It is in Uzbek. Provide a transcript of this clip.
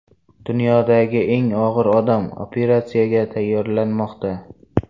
Dunyodagi eng og‘ir odam operatsiyaga tayyorlanmoqda.